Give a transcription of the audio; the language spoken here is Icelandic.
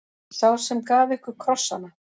Sá sem gaf ykkur krossana.